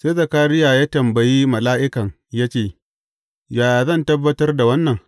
Sai Zakariya ya tambayi mala’ikan ya ce, Yaya zan tabbatar da wannan?